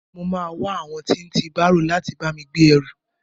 I mo máa wá àwọn tí ń tí bárò láti bá mi gbé ẹrù.